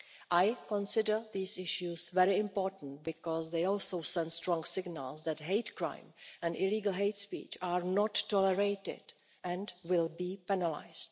I consider these issues very important because they also send strong signals that hate crime and illegal hate speech are not tolerated and will be penalised.